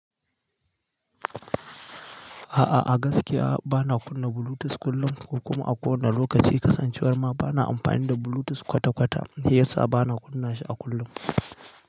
Aa a gaskiya bana kunna Bluetooth kullum, ko kuma a kowanne lokaci kasancewar ma bana amfani da Bluetooth kwata-kwata, shiyasa bana kunna shi a kullum.